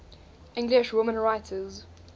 english women writers